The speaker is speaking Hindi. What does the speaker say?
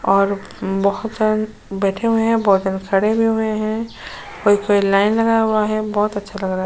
और बहुत जन बैठे हुए हैं। बहोत जन खड़े हुए हैं। कई-कोई लाइन लगाया हुआ है। बहोत अच्छा लग रहा --